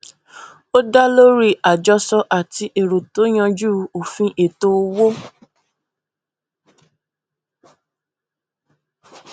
ó dá lórí àjọsọ àti èrò tó yanjú òfin ètò owó